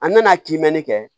An nana kiimɛnni kɛ